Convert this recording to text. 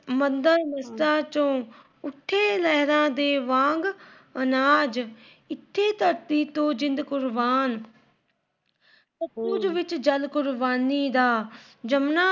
ਮੰਦਰ, ਮਸਜਿਦਾਂ ਚੋ ਉੱਠੇ ਲਹਿਰਾ ਦੇ ਵਾਂਗ ਅਨਾਜ, ਇੱਥੇ ਧਰਤੀ ਤੇ ਜਿੰਦ ਕੁਰਬਾਨ। ਕੁਰਬਾਨੀ ਦਾ ਜਮਨਾ